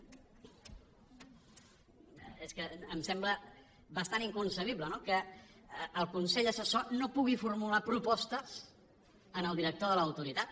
és que em sembla bastant inconcebible no que el consell assessor no pugui formular propostes al director de l’autoritat